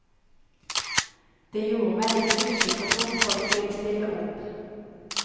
Det gjorde meg litt usikker på om folk ville stille opp.